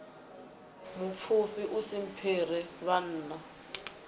mupfufhi u si mphire vhanna